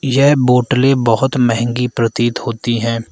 यह बोटलें बहोत महंगी प्रतीत होती है।